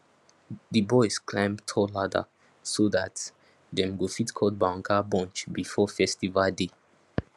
di boys climb tall ladder so dat dem go fit cut banga bunch before festival day